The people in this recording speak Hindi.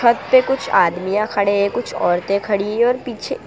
छत पे कुछ आदमियां खड़े हैं कुछ औरतें खड़ी हैं और पीछे--